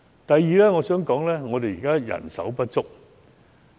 第二，香港現時人手不足。